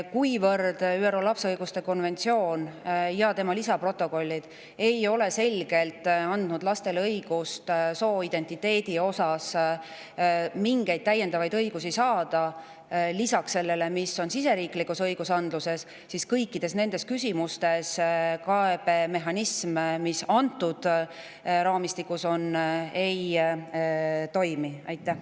Kuivõrd ÜRO lapse õiguste konventsioon ja tema lisaprotokollid ei ole selgelt andnud lastele sooidentiteedi puhul mingeid täiendavaid õigusi lisaks sellele, mis on siseriiklikus andluses, siis kõikides nendes küsimustes see kaebe, mis antud raamistikus kasutusel on, ei toimi.